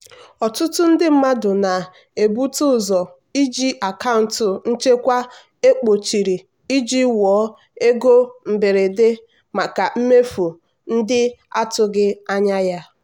ọtụtụ ndị mmadụ na-ebute ụzọ iji akaụntụ nchekwa ekpochiri iji wuo ego mberede maka mmefu ndị atụghị anya ya.